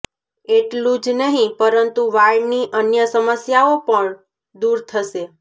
એટલું જ નહિ પરંતુ વાળની અન્ય સમસ્યાઓ પણ દૂર થશે